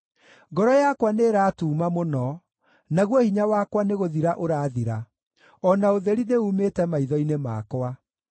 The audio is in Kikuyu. Ngoro yakwa nĩĩratuuma mũno, naguo hinya wakwa nĩgũthira ũrathira; o na ũtheri nĩumĩte maitho-inĩ makwa.